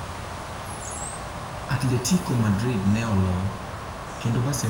Atletico Madrid ne oloo, kendo Barcelona ne chiegni yudo La Liga